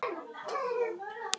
Ég sakna þín gamli minn.